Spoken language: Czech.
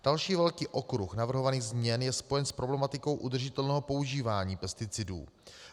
Další velký okruh navrhovaných změn je spojen s problematikou udržitelného používání pesticidů.